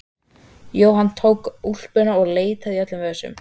Jóhann tók úlpuna og leitaði í öllum vösum.